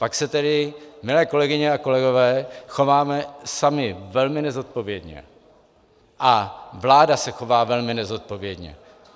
Pak se tedy, milé kolegyně a kolegové, chováme sami velmi nezodpovědně a vláda se chová velmi nezodpovědně.